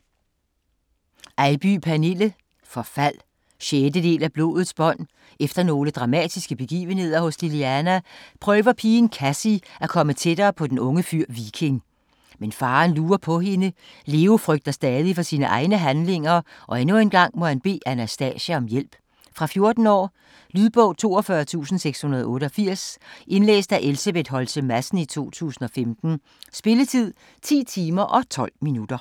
Eybye, Pernille: Forfald 6. del af Blodets bånd. Efter nogle dramatiske begivenheder hos Liliana, prøver pigen Kassie at komme tættere på den unge fyr, Viking. Men faren lurer på hende. Leo frygter stadig for sine egne handlinger, og endnu en gang må han bede Anastasia om hjælp. Fra 14 år. Lydbog 42688 Indlæst af Elsebeth Holtze Madsen, 2015. Spilletid: 10 timer, 12 minutter.